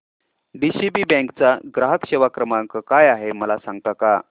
DCB bank चा ग्राहक सेवा क्रमांक काय आहे मला सांगता का